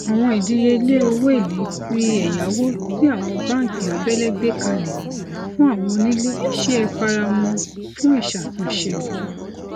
àwọn ìdíyelé owó èlé ti ẹyáwó tí àwọn bánkì abẹlé gbé kalẹ fún àwọn onílé ṣe é faramọ fún ìṣàtúnṣe